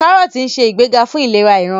Kárọ́ọ̀tì nse igbega fún ìlera ìran.